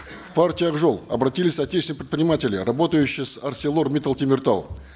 в партию ак жол обратились отечественные предприниматели работающие с арселор миттал темиртау